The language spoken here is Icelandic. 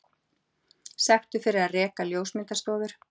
Sektuð fyrir að reka ljósmyndastofur